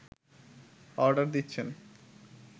order দিচ্ছেন